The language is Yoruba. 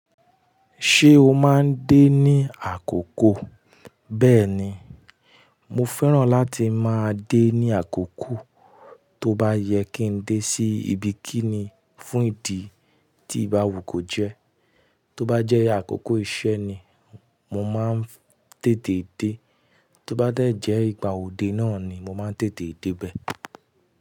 Ṣé o máa ń dé ní àkókò? Bẹ́ẹ̀ni, mo fẹ́ràn láti máa dé ní àkókò. Tó bá yẹ kí ń dé sí ibi kíni fún ìdí tí ìbáwù ko jẹ́, tó bá jẹ́ àkókò iṣẹ́ ni mo máa ń tètè dé, tó bá dẹ̀ jẹ́ ìgbà òde náà ni mo máa ń tètè dé bẹ́ẹ̀.